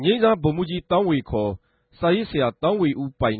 ငိမ်းစား ဗိုလ်မြြးဋ္ဌကီး သောင်းဝေ ခေၞ စာရေးဆရာ သောင်းဝေဦး ပိုင်